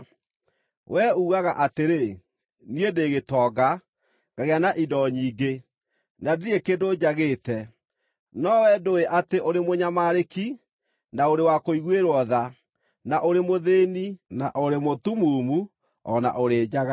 Wee ugaga atĩrĩ, ‘Niĩ ndĩ gĩtonga, ngagĩa na indo nyingĩ, na ndirĩ kĩndũ njagĩte.’ No wee ndũũĩ atĩ ũrĩ mũnyamarĩki, na ũrĩ wa kũiguĩrwo tha, na ũrĩ mũthĩĩni, na ũrĩ mũtumumu, o na ũrĩ njaga.